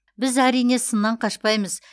біз әрине сыннан қашпаймыз